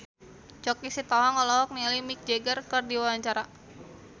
Choky Sitohang olohok ningali Mick Jagger keur diwawancara